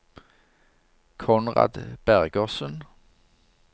Konrad Bergersen